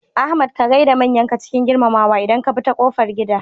Ahmad ka gaida manyanka cikin girmamawa idan ka bi ta kofar gida.